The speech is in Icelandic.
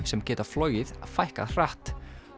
sem geta flogið fækkað hratt